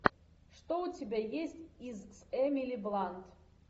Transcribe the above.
что у тебя есть из с эмили блант